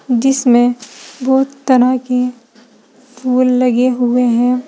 इसमे बहोत तरह के फुल लगे हुए हैं।